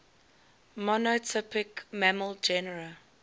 monotypic mammal genera